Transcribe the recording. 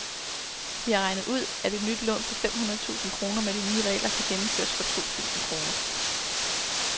De har regnet ud, at et nyt lån på fem hundrede tusind kroner med de nye regler kan gennemføres for to tusind kroner.